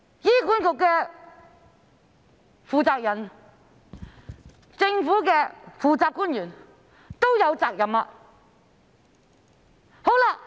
醫管局的負責人和政府的負責官員都有責任。